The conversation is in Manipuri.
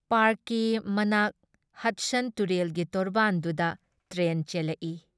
ꯄꯥꯔꯛꯀꯤ ꯃꯅꯥꯛ ꯍꯗꯁꯟ ꯇꯨꯔꯦꯜꯒꯤ ꯇꯣꯔꯕꯥꯟꯗꯨꯗ ꯇ꯭ꯔꯦꯟ ꯆꯦꯜꯂꯛꯏ ꯫